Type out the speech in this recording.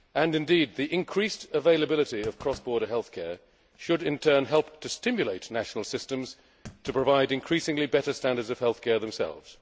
choice. Indeed, the increased availability of cross border health care should in turn help stimulate national systems to provide increasingly better standards of health care themselves.